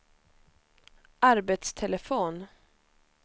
arbetstelefon